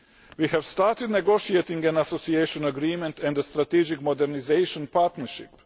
We have started negotiating an association agreement and a strategic modernisation partnership.